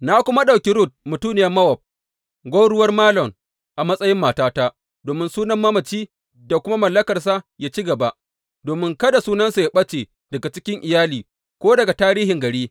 Na kuma ɗauki Rut mutuniyar Mowab, gwauruwar Malon a matsayin matata domin sunan mamaci da kuma mallakarsa yă ci gaba, domin kada sunansa yă ɓace daga cikin iyali ko daga tarihin gari.